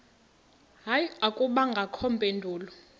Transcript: hayi akubangakho mpendulo